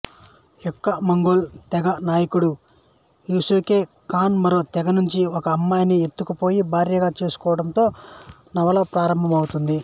యెక్కామంగోల్ తెగ నాయకుడు Yesugei Khan మరో తెగ నుంచి ఒక అమ్మాయిని ఎత్తుకుపోయి భార్యగా చేసుకోవడంతో నవల ప్రారంభమౌతుంది